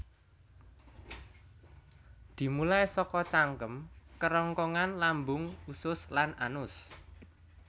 Dimulai saka cangkem kerongkongan lambung usus lan anus